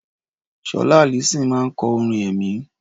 Sọlá Allyson máa ń kọ orin ẹ̀mí.